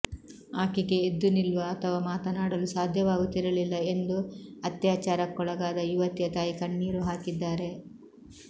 ಆಕೆಗೆ ಎದ್ದು ನಿಲ್ಲುವ ಅಥವಾ ಮಾತನಾಡಲು ಸಾಧ್ಯವಾಗುತ್ತಿರಲಿಲ್ಲ ಎಂದು ಅತ್ಯಾಚಾರಕ್ಕೊಳಗಾದ ಯುವತಿಯ ತಾಯಿ ಕಣ್ಣೀರು ಹಾಕಿದ್ದಾರೆ